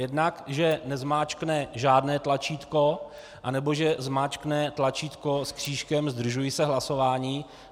Jednak, že nezmáčkne žádné tlačítko, anebo že zmáčkne tlačítko s křížkem "zdržuji se hlasování".